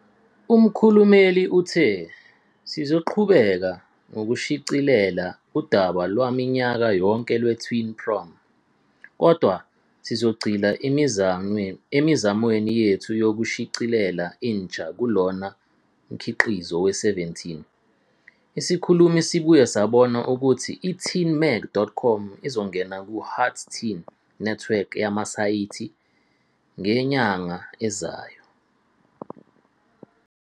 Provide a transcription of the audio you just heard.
Umkhulumeli uthe "Sizoqhubeka nokushicilela udaba lwaminyaka yonke lweTeen Prom, kodwa sizogxila emizamweni yethu yokushicilela intsha "kulona" mkhiqizo weSeventeen."Isikhulumi sibuye sabona ukuthi i- teenmag.com izongena ku-Hearst Teen Network yamasayithi ngenyanga ezayo.